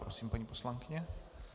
Prosím, paní poslankyně.